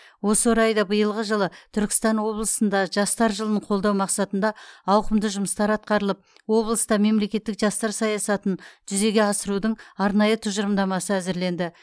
осы орайда биылғы жылы түркістан облысында жастар жылын қолдау мақсатында ауқымды жұмыстар атқарылып облыста мемлекеттік жастар саясатын жүзеге асырудың арнайы тұжырымдамасы әзірленді